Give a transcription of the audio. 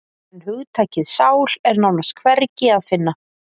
En hugtakið sál er nánast hvergi að finna.